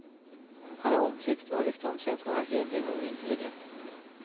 Han är omtyckt och har rykte om sig att vara hederlig och intelligent.